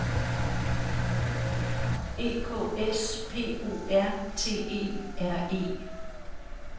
E K S P O R T E R E